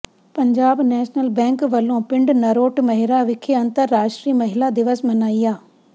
Punjab National Bank ਵੱਲੋਂ ਪਿੰਡ ਨਰੋਟ ਮਹਿਰਾ ਵਿਖੇ ਅੰਤਰਰਾਸ਼ਟਰੀ ਮਹਿਲਾ ਦਿਵਸ ਮਨਾਇਆ